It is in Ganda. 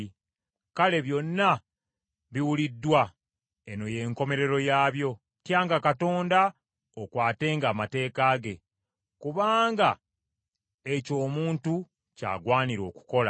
Kale byonna biwuliddwa; eno y’enkomerero yaabyo: Tyanga Katonda okwatenga amateeka ge, kubanga ekyo omuntu ky’agwanira okukola.